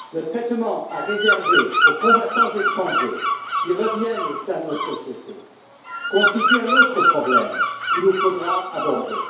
Le traitement à réserver aux combattants étrangers qui reviennent au sein de nos sociétés constitue un autre problème que nous devrons aborder.